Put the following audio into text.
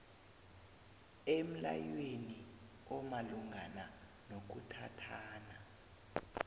emlayweni omalungana nokuthathana